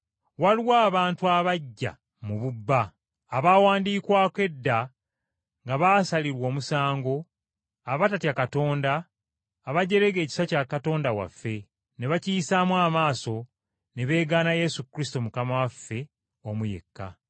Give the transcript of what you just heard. Waliwo abantu abajja mu bubba, abaawandiikwako edda nga baasalirwa omusango, abatatya Katonda abajerega ekisa kya Katonda waffe, ne bakiyisaamu amaaso, ne beegaana Yesu Kristo Mukama waffe, omu yekka.